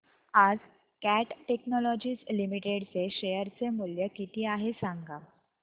आज Cat Technologies Limited चे share चे मूल्य किती आहे सांगा